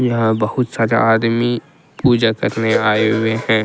यहां बहुत ज्यादा आदमी पूजा करने आए हुए हैं ।